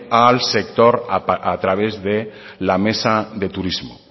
al sector a través de la mesa de turismo